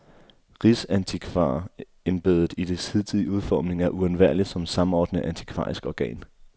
Rigsantikvarembedet i dets hidtidige udformning er uundværligt som samordnende antikvarisk organ.